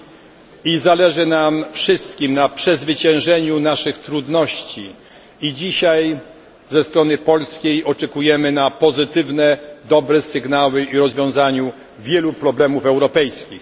Wszystkim nam zależy na przezwyciężeniu naszych trudności, i dzisiaj ze strony polskiej prezydencji oczekujemy na pozytywne, dobre sygnały o rozwiązaniu wielu problemów europejskich.